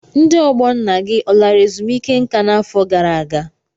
Ndị ọgbọ nna gị ọ lara ezumike nka n'afọ gara aga?